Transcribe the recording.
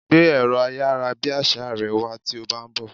Gbé ẹ̀rọ ayárabíàṣá rẹ wá tí o bá ń bọ̀!